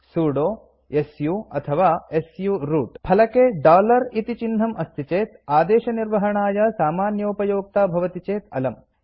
sudo su ಅಥವಾ su root फलके dollar इति चिह्नम् अस्ति चेत् आदेशनिर्वहणाय सामान्योपयोक्ता भवति चेत् अलम्